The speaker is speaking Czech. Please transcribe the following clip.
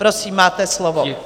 Prosím, máte slovo.